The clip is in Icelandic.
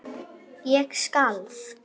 Ég skalf.